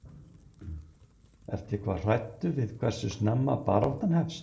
Guðrún: Ertu eitthvað hræddur við hversu snemma baráttan hefst?